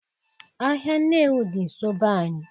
Ahịa Nnewi dị nsọ be anyị